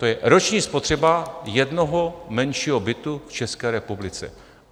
To je roční spotřeba jednoho menšího bytu v České republice.